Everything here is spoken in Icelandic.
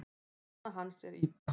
Kona hans er Ida.